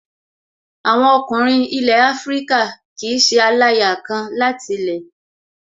Àwọn ọkùnrin ilẹ̀ Afíríkà kìí ṣe aláya kan láti lẹ̀